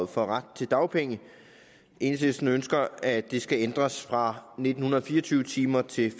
for retten til dagpenge enhedslisten ønsker at det skal ændres fra nitten fire og tyve timer til